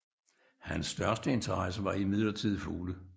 Hans største interesse var imidlertid fugle